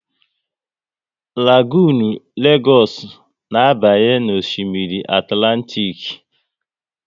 Lagonu Legoosu na abanye n'Osimiri Atlantik